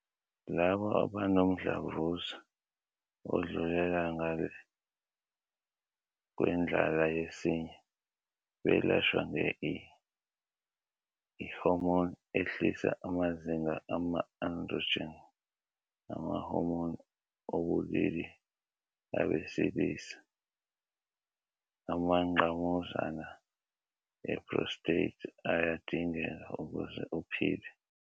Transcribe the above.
Labo abanomdlavuza odlulela ngale kwendlala yesinye belashwa nge-I-hormone ehlisa amazinga ama-androgen, ama-hormone obulili abesilisa, amangqamuzana e-prostate ayadingeka ukuze uphile.